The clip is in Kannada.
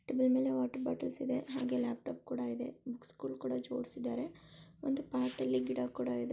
ಅದರ ಮೇಲೆ ವಾಟರ್ ಬಾಟಲ್ಸ್ ಇದೆ ಹಂಗೆ ಲ್ಯಾಪ್ಟಾಪ್ ಕೂಡ ಇದೆ ಬುಕ್ಸ್ ಗಳು ಕೂಡ ಜೋಡಿಸಿದ್ದಾರೆ ಒಂದು ಪಾಟ ಅಲ್ಲಿ ಗಿಡ ಕೂಡ ಇದೆ.